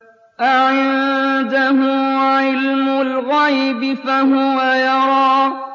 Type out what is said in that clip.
أَعِندَهُ عِلْمُ الْغَيْبِ فَهُوَ يَرَىٰ